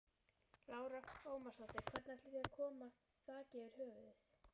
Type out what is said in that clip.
Lára Ómarsdóttir: Hvernig ætið þið að koma þaki yfir höfuðið?